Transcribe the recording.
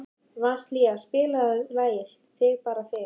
Vasilia, spilaðu lagið „Þig bara þig“.